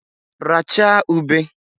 Rachaa ube!